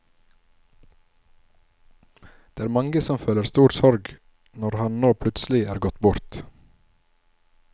Det er mange som føler stor sorg når han nå plutselig er gått bort.